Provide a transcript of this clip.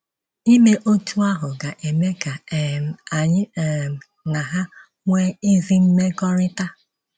Ime otú ahụ ga-eme ka um anyị um na ha nwee ezi mmekọrịta.